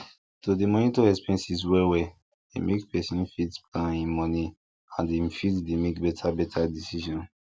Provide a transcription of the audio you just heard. to dey monitor expenses wellwell dey make person fit plan him money and him fit dey make better better decision